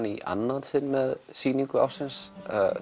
í annað sinn með sýningu ársins